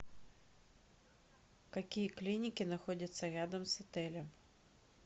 какие клиники находятся рядом с отелем